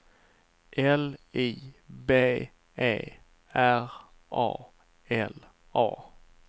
L I B E R A L A